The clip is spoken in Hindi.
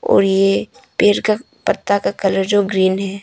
और ये पेड़ का पत्ता का कलर जो ग्रीन है।